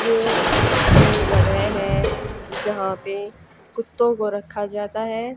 ये एक जगह है जहां पे कुत्तों को रखा जाता है।